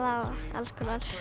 alls konar